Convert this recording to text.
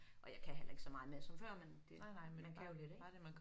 Og jeg kan heller ikke så meget mere som før men det men det man kan jo lidt ik